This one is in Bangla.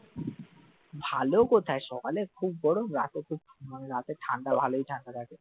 ভালো কোথায় সকালে খুব গরম রাতে খুব মানে রাতে ঠান্ডা ভালোই ঠান্ডা থাকে